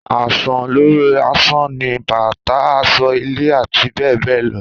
Àsàn lori àsan ni bàtá, àsọ́, ìlé àti bẹ́ẹ̀ bẹ́ẹ̀ lọ